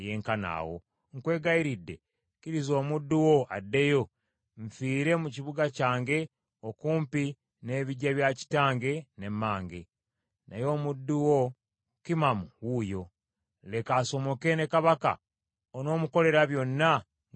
Nkwegayiridde, kkiriza omuddu wo addeyo, nfiire mu kibuga kyange okumpi n’ebiggya bya kitange ne mmange. Naye omuddu wo Kimamu wuuyo. Leka asomoke ne mukama wange kabaka, onoomukolera byonna nga bw’onoosiima.”